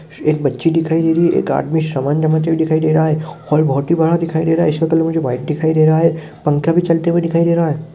एक बच्ची दिखाई दे रही है एक आदमी सामान जमाते हुए दिखाई दे रहा है हाल बहुत ही बड़ा दिखाई दे रहा है इसका कलर मुझे व्हाइट दिखाई दे रहा है पंखा भी चलते हुए दिखाई दे रहा है।